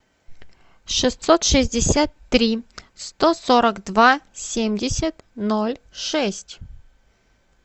шестьсот шестьдесят три сто сорок два семьдесят ноль шесть